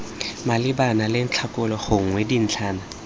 malebana le ntlhakgolo gongwe dintlhana